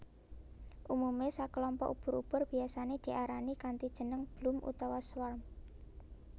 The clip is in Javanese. Umume sakelompok ubur ubur biyasané diarani kanthi jeneng bloom utawa swarm